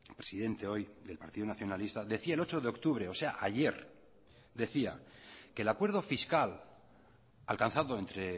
presidente hoy del partido nacionalista decía el ocho de octubre o sea ayer decía que el acuerdo fiscal alcanzado entre